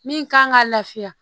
Min kan ka lafiya